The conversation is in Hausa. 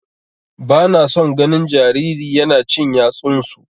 Bana son ganin jariri yana cin yatsunsu.